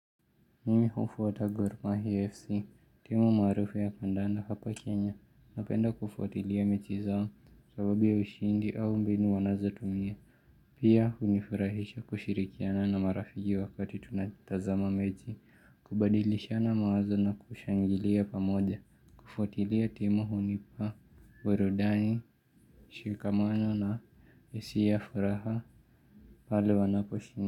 Mimi hufuata gormahia FC, timu maarufu ya kandanda hapa Kenya, napenda kufuatilia mechi zao sababu ya ushindi au mbinu wanazotumia. Pia hunifurahisha kushirikiana na marafiki wakati tunatazama mechi, kubadilishana mawazo na kushangilia pamoja, kufuatilia timu hunipa, burudani, mshikamano na hisia furaha pale wanapshinda.